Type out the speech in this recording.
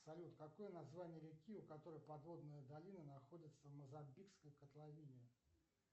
салют какое название реки у которой подводная долина находится в мозамбикской котловине